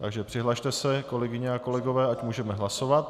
Takže přihlaste se, kolegyně a kolegové, ať můžeme hlasovat.